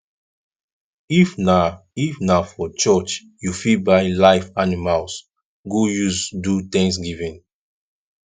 if na if na for church you fit buy live animals go use do thanksgiving